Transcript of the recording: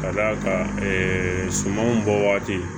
Ka d'a kan ɛɛ sumanw bɔ waati